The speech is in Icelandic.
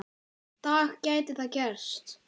dag gæti það gerst.